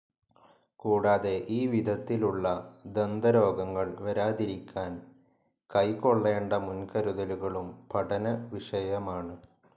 കൂടാതെ ഈ വിധത്തിലുള്ള ദന്തരോഗങ്ങൾ വരാതിരിക്കാൻ കൈക്കൊള്ളേണ്ട മുൻകരുതലുകളും പഠനവിഷയമാണ്.